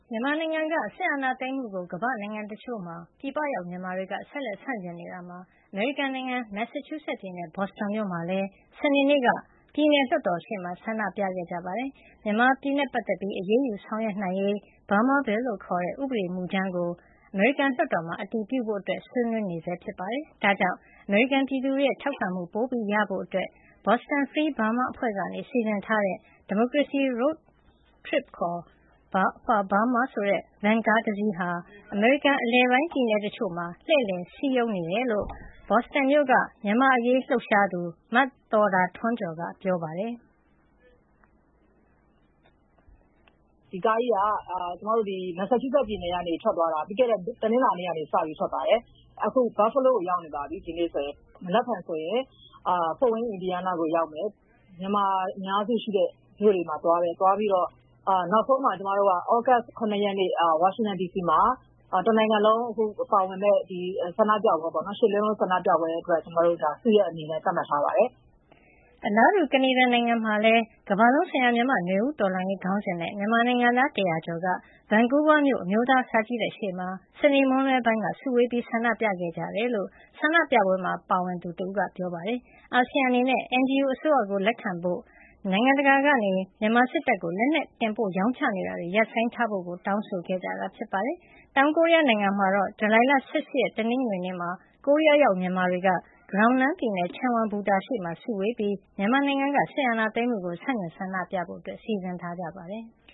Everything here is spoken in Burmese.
မြန်မာနိုင်ငံက စစ်အာဏာသိမ်းမှုကို ကမ္ဘာ့နိုင်ငံတချို့မှာ ပြည်ပရောက် မြန်မာတွေက ဆက်လက် ဆန့်ကျင်နေတာမှာ အမေရိကန်ပြည်ထောင်စု မက်ဆာချူးဆက်ပြည်နယ် ဘော့စတွန်မြို့မှာလည်း စနေနေ့က ပြည်နယ်လွှတ်တော်ရှေ့ ဆန္ဒပြခဲ့ကြပါတယ်။ မြန်မာပြည်နဲ့ပတ်သက်လို့ အရေးယူ ဆောင်ရွက်နိုင်ရေး Burma Bill လို့ခေါ်တဲ့ ဥပဒေမူကြမ်းကို အမေရိကန်လွှတ်တော်မှာ အတည်ပြုနိုင်ရေး ဆွေးနွေးနေဆဲ ဖြစ်ပါတယ်။ ဒါကြောင့် အမေရိကန်ပြည်သူတွေရဲ့ ထောက်ခံမှု ပိုရဖို့ Boston Free Burma အဖွဲ့က စီစဉ်ထားတဲ့ Democracy Road Trip for Burma ဆိုတဲ့ ဗန်ကားတစီးဟာ အမေရိကန်အလယ်ပိုင်း ပြည်နယ်တချို့မှာ လှည့်လည် စည်းရုံးနေတယ်လို့ Boston မြို့က မြန်မာ့အရေးလှုပ်ရှားသူ မသော်တာထွန်းကျော်က ပြောပါတယ်။ “ဒီကားကြီးက မက်ဆာချူးဆက်ပြည်နယ်ကနေ ပြီးခဲ့တဲ့ တနင်္လာနေ့က စထွက်သွားပါတယ်။ အခု ဒီနေ့ဆိုရင် Buffalo ကို ရောက်နေပါပြီ။ မနက်ဖြန်ဆိုရင် ဖို့ဒ်ဝိန်း အင်ဒီယားနားကို ရောက်မယ်။ မြန်မာအများစုရှိတဲ့ မြို့တွေကို သွားပြီးတော့ နောက်ဆုံးမှာ ကျမတို့ သြဂုတ် ၇ ရက်နေ့ ဝါရှင်တန်ဒီစီမှာ တနိုင်ငံလုံး ပါဝင်မယ့် ရှစ်လေးလုံး ဆန္ဒပြပွဲအတွက် စုရပ်အနေနဲ့ သတ်မှတ်ထားပါတယ်။” အလားတူ ကနေဒါနိုင်ငံမှာလည်း ကမ္ဘာလုံးဆိုင်ရာ မြန်မာ့နွေဦးတော်လှန်ရေး ခေါင်းစဉ်နဲ့ မြန်မာနိုင်ငံသား ၁၀၀ ကျော်က ဗန်ကူးဗားမြို့ အမျိုးသား စာကြည့်တိုက်ရှေ့မှာ စနေနေ့ မွန်းလွဲပိုင်းက စုဝေး ဆန္ဒပြခဲ့ကြတယ်လို့ ဆန္ဒပြပွဲမှာပါဝင်သူ ကိုတင်အောင်ထွန်းက ပြောပါတယ်။ အာဆီယံအနေနဲ့ NUG အစိုးရကို လက်ခံပေးဖို့၊ နိုင်ငံတကာက မြန်မာစစ်တပ်ကို လက်နက်တင်ပို့ ရောင်းချတာတွေ ရပ်ဆိုင်းထားဖို့ကို တောင်းဆိုခဲ့ကြပါတယ်။ တောင်ကိုရီးယားနိုင်ငံမှာတော့ ဇူလိုင် ၁၈ ရက် တနင်္ဂနွေနေ့မှာ ကိုရီးယားရောက် မြန်မာတွေက ဂယောင်နမ်ပြည်နယ် ချမ်ဝမ်ဘူတာရှေ့ စုဝေးပြီး မြန်မာနိုင်ငံက စစ်အာဏာသိမ်းမှုကို ဆန့်ကျင်ဆန္ဒပြဖို့ စီစဉ်ထားကြပါတယ်။